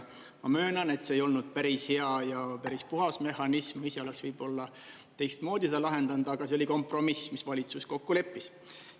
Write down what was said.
Ma möönan, et see ei olnud päris hea ja päris puhas mehhanism, ise oleks võib-olla teistmoodi seda lahendanud, aga see oli kompromiss, mis valitsus kokku leppis.